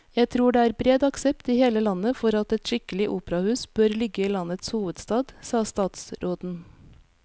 Jeg tror det er bred aksept i hele landet for at et skikkelig operahus bør ligge i landets hovedstad, sa statsråden.